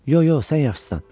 Yox, yox, sən yaxşısan.